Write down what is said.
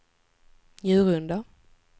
Njurunda